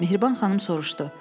Mehriban xanım soruşdu.